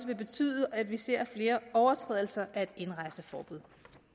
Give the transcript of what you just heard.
vil betyde at vi ser flere overtrædelser af et indrejseforbud